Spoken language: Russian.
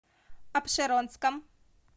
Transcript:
апшеронском